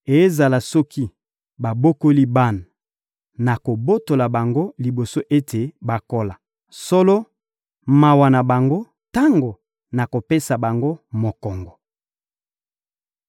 Ezala soki babokoli bana, nakobotola bango liboso ete bakola. Solo, mawa na bango tango nakopesa bango mokongo!